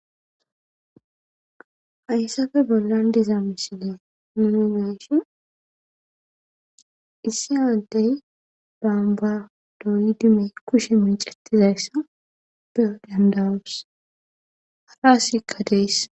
Hayssappe bollan diza misiliya nuuni be7ishin issi adde bombba dooyidi kushe meecetizayssi beyo danda7os. Hara asikka dees.